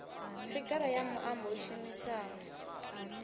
figara ya muambo i shumisaho